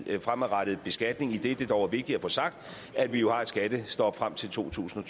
en fremadrettet beskatning idet det dog er vigtigt at få sagt at vi jo har et skattestop frem til totusinde